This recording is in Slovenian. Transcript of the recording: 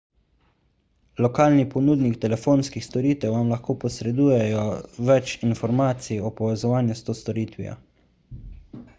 lokalni ponudnik telefonskih storitev vam lahko posreduje več informacij o povezovanju s to storitvijo